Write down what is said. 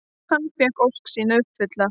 Hann fékk ósk sína uppfyllta.